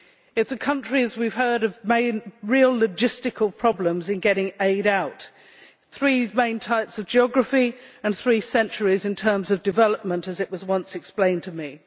It is a country, as we have heard, of real logistical problems in getting aid out three main types of geography and three centuries in terms of development, as was once explained to me.